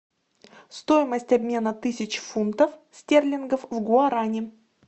стоимость обмена тысяч фунтов стерлингов в гуарани